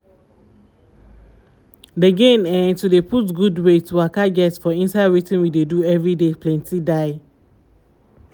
d gain eh to dey put gud wey to waka get for inside wetin we dey do everyday planty die